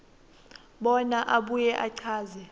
bona abuye achaze